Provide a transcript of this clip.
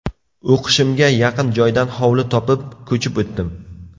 O‘qishimga yaqin joydan hovli topib, ko‘chib o‘tdim.